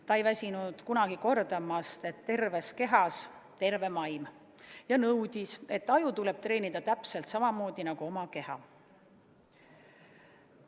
Ta ei väsinud kunagi kordamast, et terves kehas on terve vaim, ja nõudis, et aju tuleb treenida täpselt samamoodi nagu oma keha.